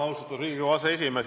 Austatud Riigikogu aseesimees!